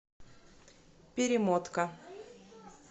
перемотка